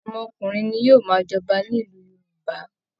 Ọmọkùnrin ni yóò máa jọba nílùú Yorùbá